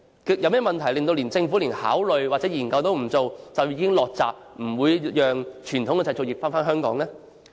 有甚麼問題令政府連考慮和研究都不願意做，就已經"落閘"，不讓傳統製造業回流香港呢？